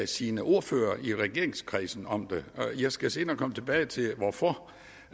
sine ordførere i regeringskredsen om det jeg skal senere komme tilbage til hvorfor